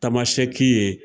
Tamasɛki ye.